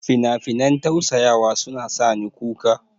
Finafinan tausaya suna sa ni kuka.